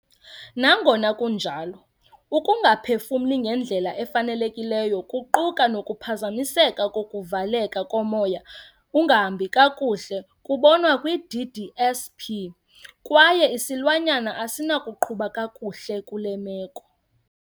Nangona kunjalo, ukungaphefumli ngendlela efanelekileyo, kuquka nokuphazamiseka kokuvaleleka komoya ungahambi kakuhle kubonwa kwi- DDSP, kwaye isilwanyana asinakuqhuba kakuhle kule meko.